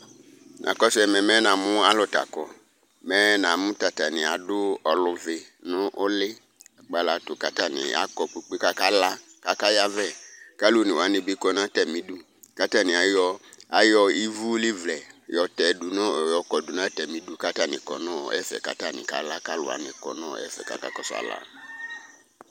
Nakɔsʋ ɛmɛ mɛ namʋ alʋ ta kɔ mɛ namʋ tatani adʋ ɔluvi nʋ ʋli kpalatu kʋ atani akɔ kpe kpe kʋ akala kʋ aka yavɛ kʋ alʋ one wani kʋ nʋ atami idʋ kʋ atani ayɔ ivʋlivlɛ yɔkɔdʋ nʋ atami idʋ kʋ atani kʋnʋ ɛfɛ kʋ atani kala kʋ alʋ wani kʋ nʋ ɛfɛ kʋ aka kɔsʋ ala